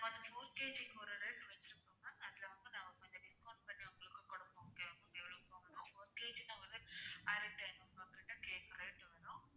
four KG க்கு ஒரு rate வச்சிருக்கோம் ma'am அதுல வந்து நான் கொஞ்சம் discount பண்ணி உங்களுக்கு கொடுப்போம் okay வா உங்களுக்கு four KG னா வந்து ஆயிரத்தி ஐந்நூறு ரூபாய் கிட்ட cake rate வரும்